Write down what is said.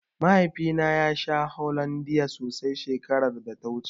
Mahaifina ya sha Hollondia sosai shekaraar da ta wuce.